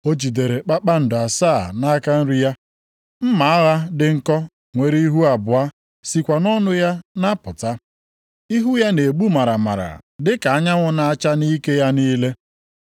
O jidere kpakpando asaa nʼaka nri ya, mma agha dị nkọ nwere ihu abụọ sikwa nʼọnụ ya na-apụta. Ihu ya na-egbu maramara dịka anyanwụ na-acha nʼike ya niile.